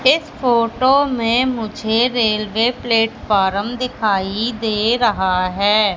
इस फोटो में मुझे रेलवे प्लेटफार्म दिखाई दे रहा है।